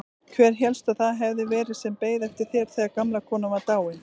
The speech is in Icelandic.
Hver hélstu að það hefði verið sem beið eftir þér þegar gamla konan var dáin?